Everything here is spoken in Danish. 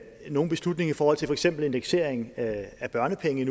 nogen beslutning i forhold til for eksempel indeksering af børnepenge